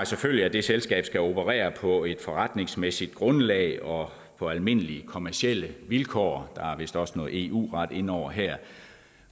selvfølgelig at det selskab skal operere på et forretningsmæssigt grundlag og på almindelige kommercielle vilkår og der er vist også noget eu ret inde over her